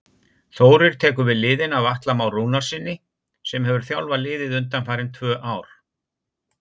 Þórir tekur við liðinu af Atla Má Rúnarssyni sem hefur þjálfað liðið undanfarin tvö ár.